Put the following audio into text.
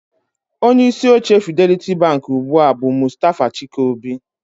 Onye isi oche Fidelity Bank ugbu a bụ Mustafa Chike-Obi